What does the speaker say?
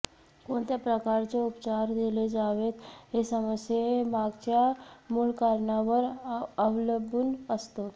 कोणत्या प्रकारचे उपचार दिले जावेत हे समस्ये मागच्या मूळ कारणावर अवलंबून असते